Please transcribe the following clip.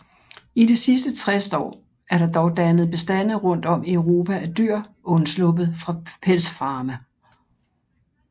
I de sidste 60 år er der dog dannet bestande rundt om i Europa af dyr undsluppet fra pelsfarme